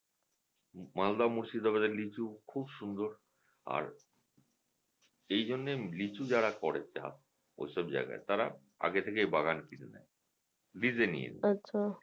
Malda Murshidabad দের লিচু খুব সুন্দর আর এই জন্যই লিচু যারা করেন চাষ ওইসব জায়গায় তারা আগে থেকে বাগান কিনে নেয় lease এ নিয়ে নেয়